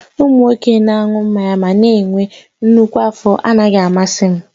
Ụmụ nwoke na-aṅụ mmanya ma na-enwe nnukwu afọ anaghị amasị m